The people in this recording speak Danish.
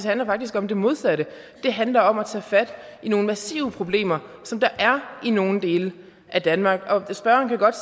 handler faktisk om det modsatte det handler om at tage fat i nogle massive problemer som der er i nogle dele af danmark og spørgeren kan godt